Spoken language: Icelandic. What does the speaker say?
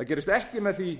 það gerist eða með því